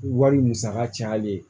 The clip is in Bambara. Wari musaka cayalen ye